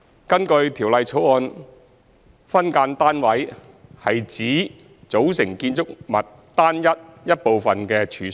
根據《條例草案》，"分間單位"指"組成建築物單位一部分的處所"。